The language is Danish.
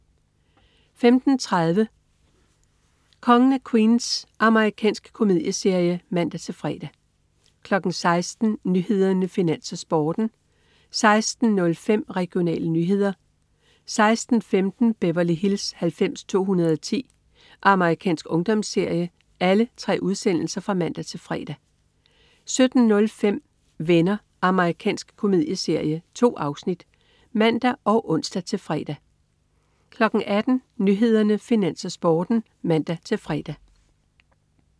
15.30 Kongen af Queens. Amerikansk komedieserie (man-fre) 16.00 Nyhederne, Finans, Sporten (man-fre) 16.05 Regionale nyheder (man-fre) 16.15 Beverly Hills 90210. Amerikansk ungdomsserie (man-fre) 17.05 Venner. Amerikansk komedieserie. 2 afsnit (man og ons-fre) 18.00 Nyhederne, Finans, Sporten (man-fre)